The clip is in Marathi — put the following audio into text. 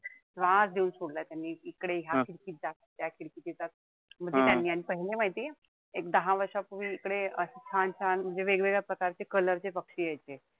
त्रास देऊन सोडलाय त्यांनी. इकडे या खिडकीत जातील. त्या खिडकीत येतात. आणि पहिले माहितीये? एक दहा वर्षांपूर्वी इकडे छान-छान म्हणजे वेगवेगळ्या प्रकारचे color चे पक्षी यायचे.